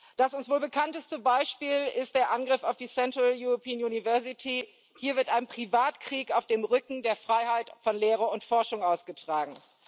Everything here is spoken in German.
Das uns wohl bekannteste Beispiel ist der Angriff auf die Central European University Hier wird ein Privatkrieg auf dem Rücken der Freiheit von Lehre und Forschung ausgetragen.